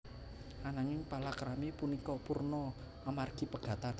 Ananging palakrami punika purna amargi pegatan